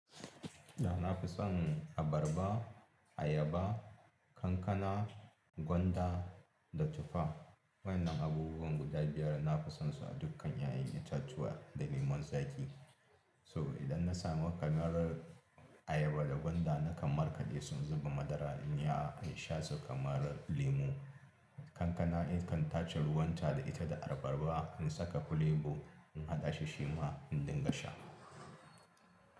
Da na fi son abarba, ayaba, kankana, gwanda da tuffa. Waɗannan abubuwan guda biyar na fi son su a dukkan ƴaƴan itatuwa da lemon zaƙi. So idan na samu kamarar ayaba da gwanda nakan markaɗe su in zuba madara in yiya in sha su kamar lemo. Kankana in kan tace ruwan ta da ita da abarba in saka fulebo in haɗa shi shi ma in dinga sha.